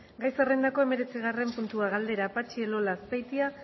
gai zerrendako hemeretzigarren puntua galdera patxi elola azpeitia